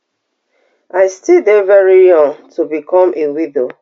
i still dey very young to become a widow